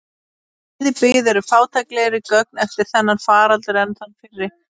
Um eyðibyggð eru fátæklegri gögn eftir þennan faraldur en þann fyrri.